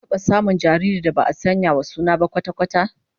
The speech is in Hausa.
An taba samun jaririn da ba'a sanya wa suna ba kwata-kwata?